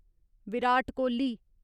Virat Kohli